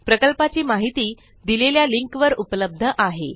प्रकल्पाची माहिती दिलेल्या लिंक वर उपलब्ध आहे